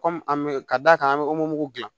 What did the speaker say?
Kɔmi an bɛ ka d'a kan an bɛ dilan